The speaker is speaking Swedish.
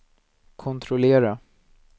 kontrollera